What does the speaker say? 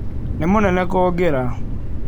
Nĩ mũnene kũngĩra.